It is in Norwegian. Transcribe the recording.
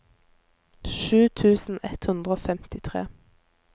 sju tusen ett hundre og femtitre